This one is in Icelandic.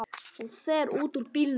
Hún fer út úr bílnum.